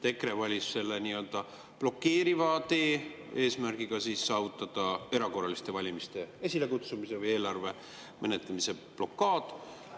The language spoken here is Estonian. EKRE valis selle nii-öelda blokeeriva tee, eesmärgiga saavutada erakorraliste valimiste esilekutsumise või eelarve menetlemise blokaad.